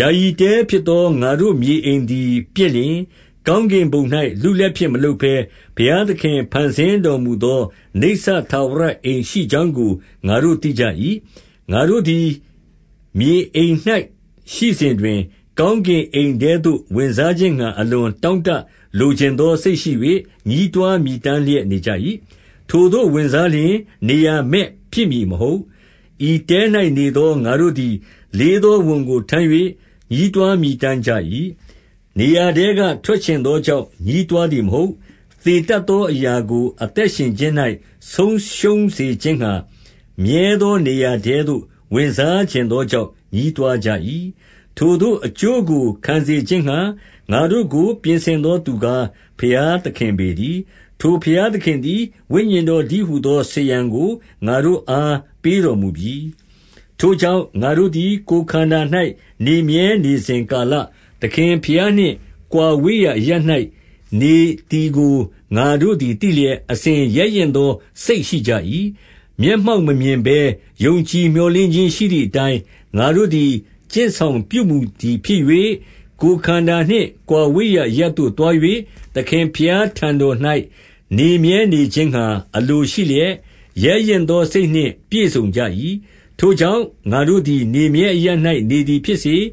ယာယီတဲဖြစ်သော ငါတို့မြေအိမ်သည်ပျက်လျှင်၊ ကောင်းကင်ဘုံ၌ လူလက်ဖြင့်မလုပ်ဘဲ၊ ဘုရားသခင် ဖန်ဆင်းတော်မူသော နိစ္စထာဝရအိမ်ရှိကြောင်းကို ငါတို့ သိကြ၏။ 2 ငါတို့သည် မြေအိမ်၌ရှိစဉ်တွင်၊ ကောင်းကင်အိမ် ထဲသို့ဝင်စားခြင်းငှါ အလွန်တောင့်တလိုချင်သော စိတ် ရှိ၍၊ ညည်းတွားမြည်တမ်းလျက်၊ နေကြ၏။ 3 ထိုသို့ဝင်စားလျှင် နေရာမဲ့ဖြစ်မည်မဟုတ်။ 4 ဤတဲ၌နေသော ငါတို့သည် လေးသောဝန်ကို ထမ်း၍ ညည်းတွားမြည်တမ်းကြ၏။ နေရာထဲက ထွက်ချင်သောကြောင့် ညည်းတွားသည် မဟုတ်။ သေတတ်သောအရာကို အသက်ရှင်ခြင်း၌ ဆုံးရှုံးစေခြင်းငှါ၊ မြဲသောနေရာထဲသို့ ဝင်စားချင်သောကြောင့် ညည်းတွားကြ၏။ 5 ထိုသို့သော အကျိုးကိုခံစေခြင်းငှါ ငါတို့ကို ပြင်ဆင်သောသူကား၊ ဘုရားသခင်ပေတည်း။ ထိုဘုရား သခင်သည် ဝိညာဉ်တော်တည်းဟူသော စားရန်ကို ငါတို့အား ပေးတော်မူပြီ။ 6 ထို့ကြောင့်ငါတို့သည် ကိုယ်ခန္ဓာ၌ နေမြဲနေစဉ်ကာလ၊ သခင်ဘုရားနှင့် ကွာဝေးရာအရပ်၌နေသည်ကို ငါတို့သည်သိလျက်၊ 7 အစဉ် ရဲရင့်သောစိတ်ရှိကြ၏။ မျက်မှောက်မမြင်ဘဲ ယုံကြည်မျှော်လင့်ခြင်းရှိသည်အတိုင်း၊ ငါတို့သည် ကျင့်ဆောင်ပြုမှုသည်ဖြစ်၍၊ 8 ကိုယ်ခန္ဓာနှင့် ကွာဝေးရာအရပ်သို့သွား၍၊ သခင်ဘုရားထံတော်၌ နေမြဲနေခြင်းငှါ အလိုရှိလျက်၊ ရဲရင့်သောစိတ်နှင့်ပြည့်စုံကြ၏။ 9 ထို့ကြောင့်ငါတို့သည် နေမြဲအရပ်၌ နေသည် ဖြစ်စေ၊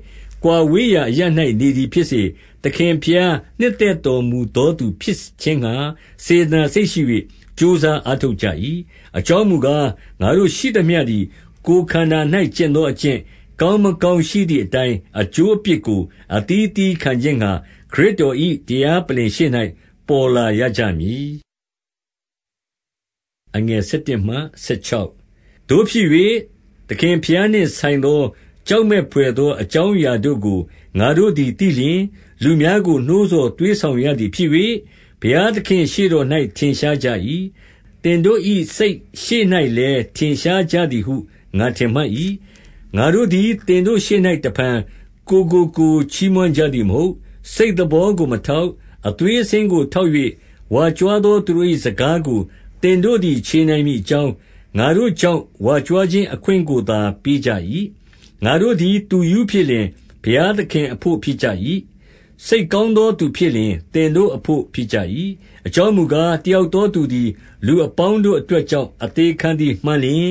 ကွာဝေးရာအရပ်၌နေသည်ဖြစ်စေ၊ သခင်ဘုရား နှစ်သက်တော်မူသော သူဖြစ်ခြင်းငှါ စေတနာစိတ်ရှိ၍ ကြိုးစားအားထုတ်ကြ၏။ 10 အကြောင်းမူကား၊ ငါတို့ရှိသမျှသည် ကိုယ်ခန္ဓာ၌ကျင့်သောအကျင့်၊ ကောင်းမကောင်းရှိသည်အတိုင်း အကျိုးအပြစ်ကို အသီးအသီးခံခြင်းငှါ၊ ခရစ်တော်၏ တရားပလ္လင်ရှေ့၌ ပေါ်လာရကြမည်။ 11 သို့ဖြစ်၍ သခင်ဘုရားနှင့်ဆိုင်သော ကြောက်မက်ဖွယ်သော အကြောင်းအရာတို့ကို ငါတို့သည် သိလျှင်၊ လူများကိုနှိုးဆော်သွေးဆောင်ရသည်ဖြစ်၍၊ ဘုရားသခင်ရှေ့တော်၌ ထင်ရှားကြ၏။ သင်တို့၏စိတ်ရှေ့၌ လည်းထင်ရှားကြသည်ဟု ငါထင်မှတ်၏။ 12 ငါတို့သည်သင်တို့ရှေ့၌ တဖန်ကိုယ်ကိုကိုယ် ချီးမွမ်းကြသည်မဟုတ်။ စိတ်သဘောကိုမထောက်၊ အသွေးအဆင်းကိုထောက်၍ ဝါကြွားသောသူတို့၏ စကားကို သင်တို့သည် ချေနိုင်မည်အကြောင်း၊ ငါတို့ ကြောင့် ဝါကြွားခြင်းအခွင့်ကိုသာ ပေးကြ၏။ 13 ငါတို့သည် သူရူးဖြစ်လျှင် ဘုရားသခင်အဘို့ ဖြစ်ကြ၏။ စိတ်ကောင်းသောသူဖြစ်လျှင် သင်တို့အဘို့ ဖြစ်ကြ၏။ 14 အကြောင်းမူကား၊ တယောက်သောသူသည် လူအပေါင်းတို့အတွက်ကြောင့် အသေခံသည်မှန်လျှင်၊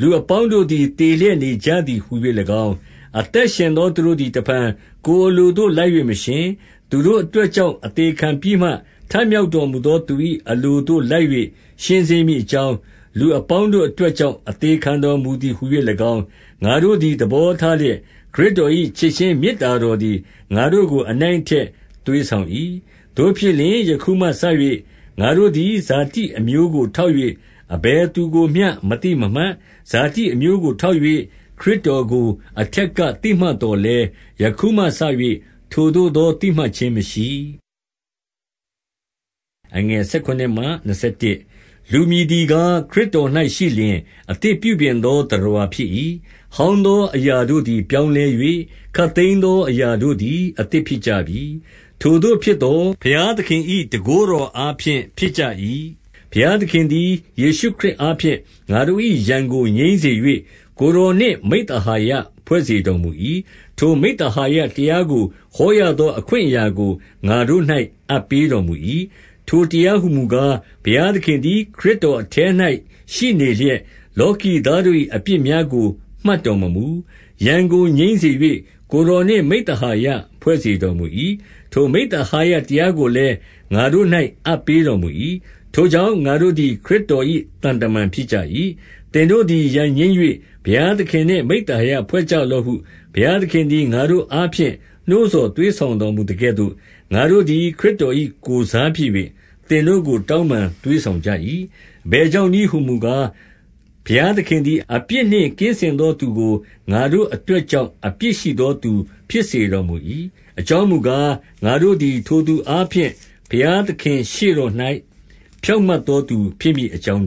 15 လူအပေါင်းတို့သည် သေလျက်နေကြသည် ဟူ၍၎င်း၊ အသက်ရှင်သောသူတို့သည် တဖန်ကိုယ်အလို သို့လိုက်၍ မရှင်၊ သူတို့အတွက်ကြောင့် အသေခံပြီးမှ ထမြောက်တော်မူသော သူတို့၏အလိုသို့လိုက်၍ ရှင်စေ မည်အကြောင်း၊ လူအပေါင်းတို့အတွက်ကြောင့် အသေ ခံတော်မူသည်ဟူ၍၎င်း၊ ငါတို့သည်သဘောထားလျက်၊ ခရစ်တော်၏ချစ်ခြင်း မေတ္တာတော်သည် ငါတို့ကို အနိုင် အထက်သွေးဆောင်၏။ 16 သို့ဖြစ်လျှင်၊ ယခုမှစ၍ ငါတို့သည် ဇာတိအမျိုကိုထောက်၍ အဘယ်သူကိုမျှမသိမမှတ်။ ဇာတိအမျိုးကိုထောက်၍ ခရစ်တော်ကို အထက်က သိမှတ်သော်လည်း၊ ယခုမှစ၍ ထိုသို့သောသိမှတ်ခြင်းမရှိ။ 17 လူမည်သည်ကား၊ ခရစ်တော်၌ရှိလျှင် အသစ် ပြုပြင်သောသတ္တဝါဖြစ်၏။ ဟောင်းသောအရာ တို့သည်ပြောင်းလဲ၍ ခပ်သိမ်းသောအရာတို့သည် အသစ်ဖြစ်ကြပြီ။ 18 ထိုသို့ဖြစ်သော် ဘုရားသခင်၏ တန်ခိုးတော်အားဖြင့် ဖြစ်ကြ၏။ ဘုရားသခင်သည် ယေရှုခရစ် အားဖြင့် ငါတို့၏ရန်ကိုငြိမ်းစေ၍ ကိုယ်တော်နှင့် မိဿဟာယဖွဲ့စေတော်မူ၏။ ထိုမိဿဟာယတရားကို ဟောရသော အခွင့်အရာကို ငါတို့၌အပ်ပေးတော်မူ၏။ 19 ထိုတရားဟူမူကား၊ ဘုရားသခင်သည် ခရစ်တော်အထဲ၌ ရှိနေလျက်၊ လောကီသားတို့၏ အပြစ်များ ကို မှတ်တော်မမူ၊ ရန်ကိုငြိမ်းစေ၍ ကိုယ်တော်နှင့် မိဿဟာယဖွဲ့စေတော်မူ၏။ ထိုမိဿဟာယတရားကိုလည်း ငါတို့၌အပ်ပေးတော်မူ၏။ 20 ထို့ကြောင့်ငါတို့သည်ခရစ်တော်၏ သံတမန်ဖြစ်ကြ၏။ သင်တို့သည်ရန်ငြိမ်း၍ ဘုရားသခင်နှင့် မိဿ ဟာယဖွဲ့ကြလော့ဟု ဘုရားသခင်သည် ငါတို့အားဖြင့် နှိုးဆော်သွေးဆောင်တော်မူသကဲ့သို့၊ ငါတို့သည် ခရစ်တော်၏ ကိုယ်စားဖြစ်၍ သင်တို့ကို တောင်းပန် သွေးဆောင်ကြ၏။ 21 အဘယ်ကြောင့်နည်းဟူမူကား၊ ဘုရားသခင် သည်အပြစ်နှင့် ကင်းစင်သောသူကို ငါတို့အတွက်ကြောင့် အပြစ်ရှိသောသူဖြစ်စေတော်မူ၏။ အကြောင်းမူကား၊ ငါတို့သည်ထိုသူအားဖြင့် ဘုရားသခင်ရှေ့တော်၌ ဖြောင့်မတ်သောသူဖြစ်မည်အကြောင်း